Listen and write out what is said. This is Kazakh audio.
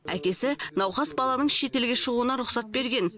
әкесі науқас баланың шетелге шығуына рұқсат берген